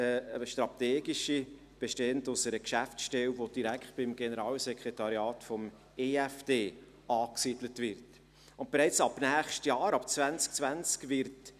Die andere, strategische Säule besteht aus einer Geschäftsstelle, die direkt beim Generalsekretariat des Eidgenössischen Finanzdepartements (EFD) angesiedelt wird.